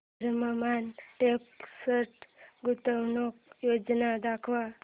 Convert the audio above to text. Vardhman text गुंतवणूक योजना दाखव